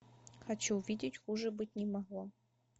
хочу увидеть хуже быть не могло